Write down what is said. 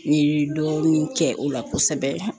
N ye dɔɔnin kɛ o la kosɛbɛ